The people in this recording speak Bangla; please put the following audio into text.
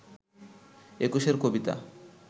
একুশের কবিতা